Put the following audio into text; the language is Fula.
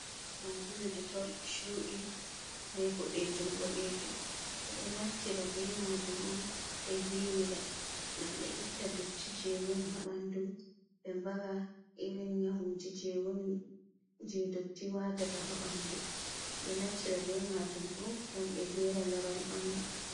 Sabulu ditol chuɗi be ɓoɗejum boɗejum. Ɓe ɗo naftira be majum on ɓe yiwira gam ɓe itta dotti je woni ha ɓandu, be mbara irin nyawuji je woni je dotti wata ta ha ɓandu. Ɓeɗo naftira be majum bo gam ɓe gera laral ɓandu.